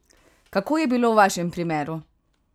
Kako je bilo v vašem primeru?